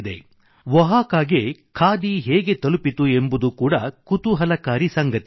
ಒಹಾಕಾಗೆ ಖಾದಿ ಹೇಗೆ ತಲುಪಿತು ಎಂಬುದು ಕೂಡ ಕುತೂಹಲಕಾರಿ ಸಂಗತಿ